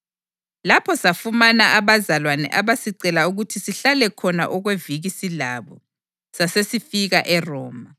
Lapho safumana abazalwane abasicela ukuthi sihlale khona okweviki silabo. Sasesifika eRoma.